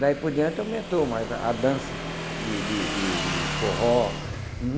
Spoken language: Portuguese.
Daí por diante aumentou mais a a dança de de de de forró. Uhum.